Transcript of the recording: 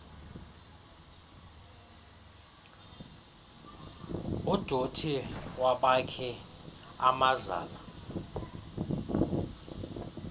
udothi wabakhi amazala